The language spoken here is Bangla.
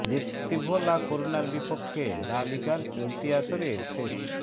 দেপোরতিভো লা করুনার বিপক্ষে লা লিগার চলতি আসরের শেষ